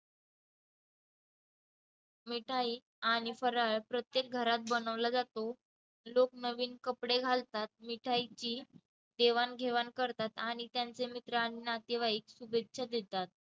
मिठाई आणि फराळ प्रत्येक घरात बनवला जातो. लोक नवीन कपडे घालतात, मिठाईची देवाणघेवाण करतात आणि त्यांचे मित्र आन नातेवाईक शुभेच्छा देतात.